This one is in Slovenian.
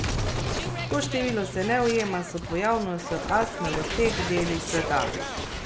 To število se ne ujema s pojavnostjo astme v teh delih sveta.